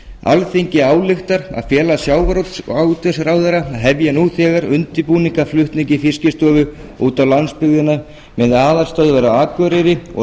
alþingi ályktar að fela sjávarútvegsráðherra að hefja nú þegar undirbúning að flutningi fiskistofu út á landsbyggðina með aðalstöðvar á akureyri og